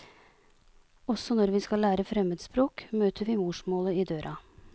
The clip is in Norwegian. Også når vi skal lære fremmedspråk, møter vi morsmålet i døra.